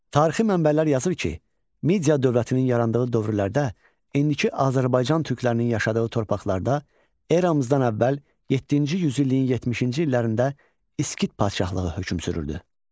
Tarixi mənbələr yazır ki, Midiya dövlətinin yarandığı dövrlərdə indiki Azərbaycan türklərinin yaşadığı torpaqlarda eramızdan əvvəl yeddinci yüzilliyin 70-ci illərində İskit padşahlığı hökm sürürdü.